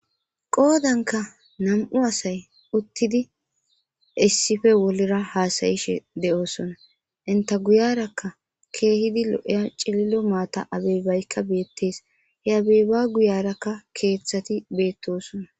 qoodanka nam'u asay uttidi issife wolira haasayishe de'oosona inta guyarakka keehidi lo'eya cililo maata abebaykka beettees he abeeba guyarakka keeththati beettosona